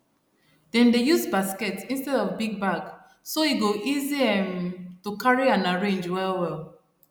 dem dey use basket instead of big bag so e go easy um to carry and arrange well well